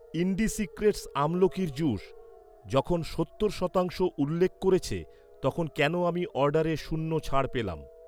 ইন্ডিসিক্রেটস আমলকির জুস যখন সত্তর শতাংশ উল্লেখ করেছে, তখন কেন আমি অর্ডারে শূন্য ছাড় পেলাম?